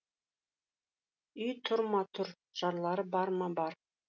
үй тұр ма тұр жарлары бар ма бар